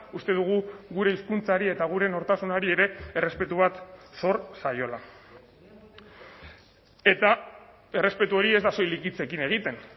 uste dugu gure hizkuntzari eta gure nortasunari ere errespetu bat zor zaiola eta errespetu hori ez da soilik hitzekin egiten